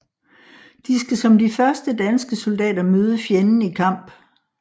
De skal som de første danske soldater møde fjenden i kamp